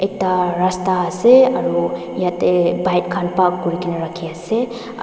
ekta rasta ase aru yatae bike khan park kurikaena rakhi ase aru--